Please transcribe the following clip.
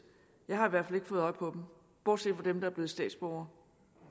jeg har i hvert fald ikke fået øje på dem bortset fra dem der er blevet statsborgere